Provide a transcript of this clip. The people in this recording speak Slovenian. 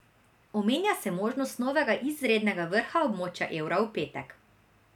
Omenja se možnost novega izrednega vrha območja evra v petek.